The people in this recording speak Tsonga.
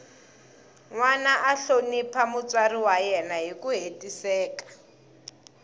nwana a hlonipha mutswari wa yena hiku hetiseka